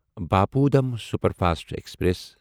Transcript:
Bapu Dham superfast express